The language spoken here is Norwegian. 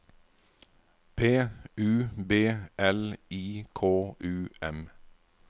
P U B L I K U M